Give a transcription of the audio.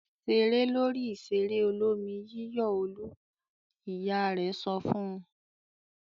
"Ṣeré lórí ìṣeré olómi-yíyọ̀ Olú!" Ìyá rẹ̀ sọ fún un.